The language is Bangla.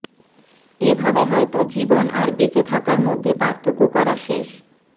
এভাবে হয়তো জীবন আর বেঁচে থাকার মধ্যে পার্থক্য করা শেষে